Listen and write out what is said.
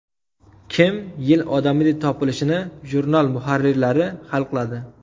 Kim Yil odami deb topilishini jurnal muharrirlari hal qiladi.